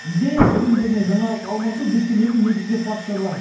идея білім және жаңалық алмасу біз сенетін негізгі факторлар